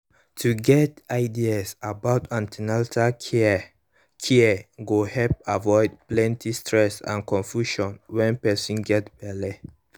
to get ideas for an ten atal care care go help avoid plenty stress and confusion when person get belle